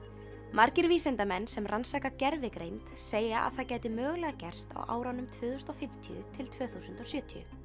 margir vísindamenn sem rannsaka gervigreind segja að það gæti mögulega gerst á árunum tvö þúsund og fimmtíu til tvö þúsund og sjötíu